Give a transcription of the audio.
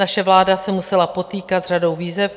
Naše vláda se musela potýkat s řadou výzev.